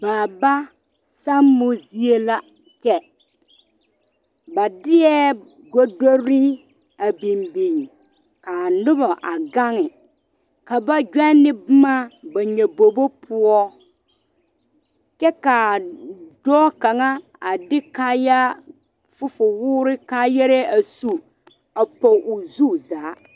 Baaba sammo zie la kyɛ ba deɛ gɔdoro a biŋ biŋ kaa noba a gaŋ ka ba gyane boma ba nyabobo poɔ kyɛ ka dɔɔ kaŋa a de kaayaa fufuwore kaayaare a su a poge o zu zaa.